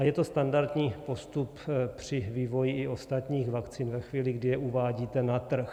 A je to standardní postup při vývoji i ostatních vakcín ve chvíli, kdy je uvádíte na trh.